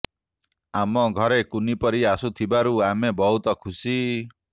ଆମ ଘରେ କୁନି ପରୀ ଆସିଥିବାରୁ ଆମେ ବହୁତ ଖୁସି